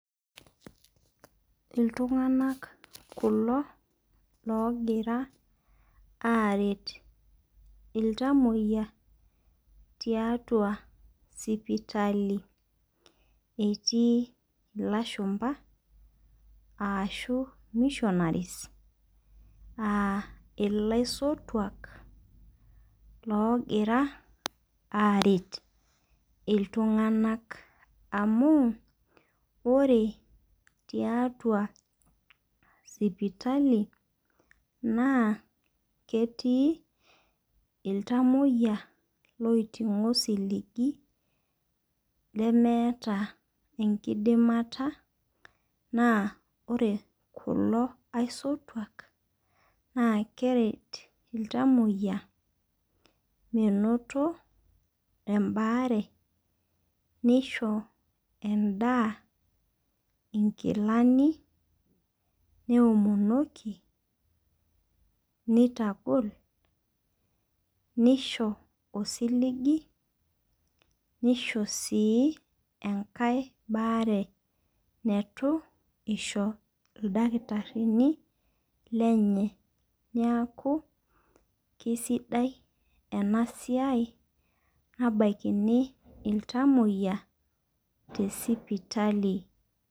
Iltungana kulo logira aret iltamoyia tiatua sipitali. Etii ilashumba ashu missionaries aa elaisotuak logira aret iltung'ana amu ore tiatua sipitali naa ketii iltamoyia loiting'o osiligi lemeetaa enkidimata naa ore kulo aisotuak naa keret iltamoyia menoto ebare nisho edaa inkilani neomonoki nitagol nisho osiligi nisho sii enkae baare neitu isho ildakitarini lenye neaku kisidai ena siai nabakini iltamoyia te sipitali.